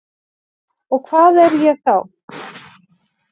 Og hvað er ég þá?